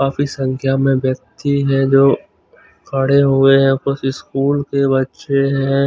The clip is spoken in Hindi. काफी संख्या में व्यक्ति हैं जो खड़े हुए हैं कुछ स्कूल के बच्चे हैं।